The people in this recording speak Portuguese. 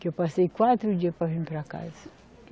Que eu passei quatro dias para vir para casa.